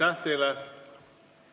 Aitäh teile!